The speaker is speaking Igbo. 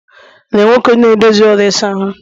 Lee Nwoke na-edozi ụlọ ịsa ahụ'm